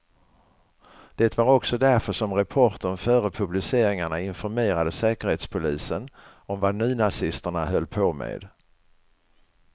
Det var också därför som reportern före publiceringarna informerade säkerhetspolisen om vad nynazisterna höll på med.